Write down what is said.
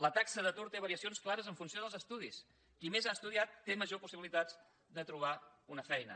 la taxa d’atur té varia cions clares en funció dels estudis qui més ha estudiat té majors possibilitats de trobar una feina